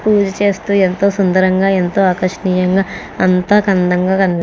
పూజ చేస్తూ ఎంతో సుందరంగా ఎంతో ఆకర్షణంగా అంతా అందంగా కని --